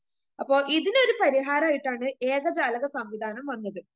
അപ്പൊ ഇതിനൊരു പരിഹാരായിട്ടാണ് ഏകജാലക സംവിധാനം വന്നത്.